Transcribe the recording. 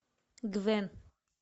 гвен